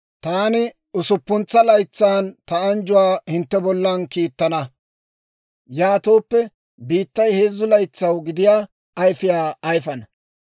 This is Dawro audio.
taani usuppuntsa laytsan ta anjjuwaa hintte bollan kiittana; yaatooppe biittay heezzu laytsaw gidiyaa ayfiyaa ayfana.